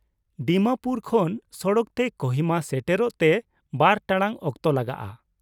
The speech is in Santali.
ᱰᱤᱢᱟᱯᱩᱨ ᱠᱷᱚᱱ ᱥᱚᱲᱚᱠ ᱛᱮ ᱠᱳᱦᱤᱢᱟ ᱥᱮᱴᱮᱨᱚᱜ ᱛᱮ ᱵᱟᱨ ᱴᱟᱲᱟᱝ ᱚᱠᱛᱚ ᱞᱟᱜᱟᱜᱼᱟ ᱾